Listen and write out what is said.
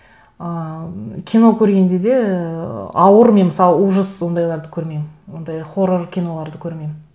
ы кино көргенде де ыыы ауыр мен мысалы ужас сондайларды көрмеймін ондай хоррор киноларды көрмеймін